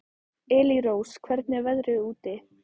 Elírós, hvernig er veðrið úti?